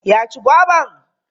Ya ci goban?